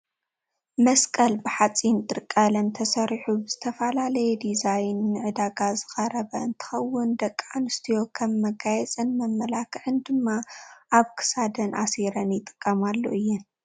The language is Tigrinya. መሰቀል ብሓፂን ጥርቀለም ተሰሪሑ ብዝተፈላለየ ዲዛይን ንዕዳጋ ዝቀረበ እንትከውን ደቂ ኣንስትዮ ከም መጋየፅን መመላክዕን ድማ ኣብ ክሳደን ኣሲረን ይጥቀማሉ እየን።